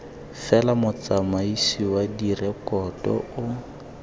fela motsamaisi wa direkoto o